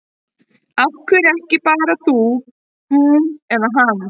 Af hverju ekki bara þú, hún eða hann?